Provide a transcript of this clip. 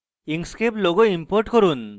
inkscape logo import করুন